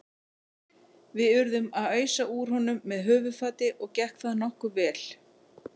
Við urðum að ausa úr honum með höfuðfati og gekk það nokkuð vel.